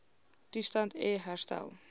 toestand e herstel